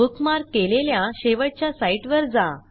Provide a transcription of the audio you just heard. bookmark केलेल्या शेवटच्या साईटवर जा